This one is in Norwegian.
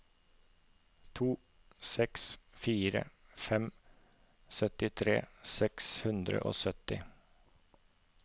to seks fire fem syttitre seks hundre og sytti